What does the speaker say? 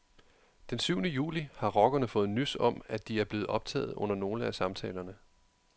Den syvende juli har rockerne fået nys om, at de er blevet optaget under nogle af samtalerne.